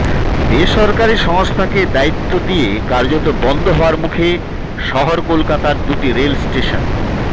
বেসরকারি সংস্থাকে দায়িত্ব দিয়ে কার্যত বন্ধ হওয়ার মুখে শহর কলকাতার দুটি রেল স্টেশন